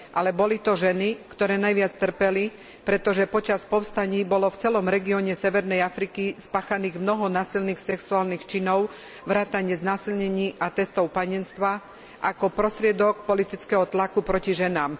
Avšak boli to ženy, ktoré najviac trpeli, pretože počas povstaní bolo v celom regióne severnej Afriky spáchaných mnoho násilných sexuálnych činov vrátane znásilnení a testov panenstva ako prostriedok politického tlaku na ženy.